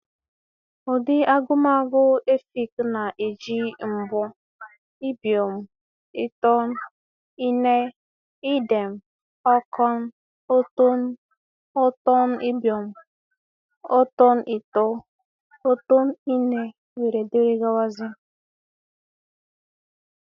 Ụdị agụmagụ Efik na-eji mbọ, ibiọñ, itọñ, ine, idem, ọkọñ, ọ̀tọọñ, ọ̀tọ̀ñ-ibiọñ, ọ̀tọ̀n-itọ́, ọ̀tọ̀n-ine, wdg.